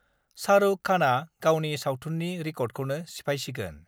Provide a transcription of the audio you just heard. शाहरुरव खान गावनि सावथुननि रिकर्डरवौनो सिफायसिगोन